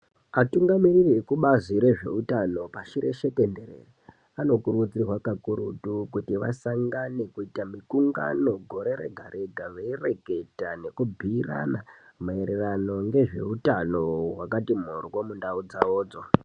Atungamiriri ekubazi rezveutano pashi reshe tenderere anokurudzirwa kakurutu kuti vasangane kuita mikungano gore rega rega, veireketa nekubhuyirana maererano ngezveutano hwakati mhoryo mundau dzawodzo.